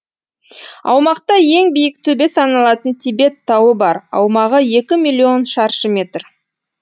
аумақта ең биік төбе саналатын тибет тауы бар аумағы екі миллион шаршы метр